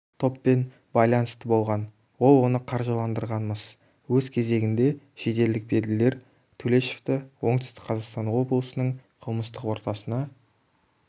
топпен байланысты болған ол оны қаржыландырған-мыс өз кезегінде шетелдік беделділер төлешовты оңтүстік-қазақстан облысының қылмыстық ортасына